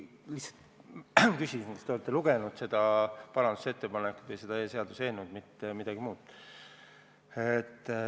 Ma lihtsalt tahtsin küsida, kas te olete lugenud seda parandusettepanekut või seda seaduseelnõu – mitte midagi muud.